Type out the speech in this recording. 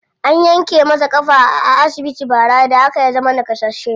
An yanke masa ƙafa a asibiti bara, da haka ya zama naƙasasshe.